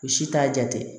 O si t'a jate